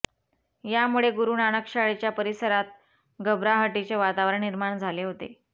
यामुळे गुरूनानक शाळेच्या परिसरात घबराहटीचे वातावरण निर्माण झाले होते